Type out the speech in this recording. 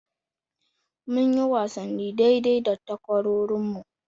Munyi wasanni daidai da takwarorinmu.